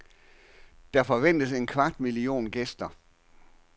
Der forventes en kvart million gæster.